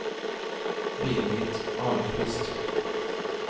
Birgit Ahlqvist